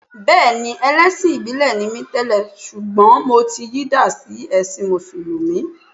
Bẹ́ẹ̀ni, ẹlẹ́sìn ìbílẹ̀ ni mi tẹ́lẹ̀ ṣùgbọ́n mo ti yí dà sí ẹ̀sin Mùsùlùmí